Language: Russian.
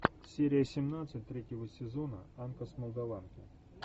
серия семнадцать третьего сезона анка с молдаванки